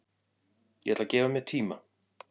Ég ætla að gefa mér tíma